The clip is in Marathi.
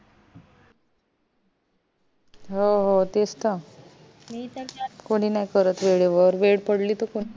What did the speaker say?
हो हो तेच त कुणी नाय करत वेळे वर वेळ पडली तर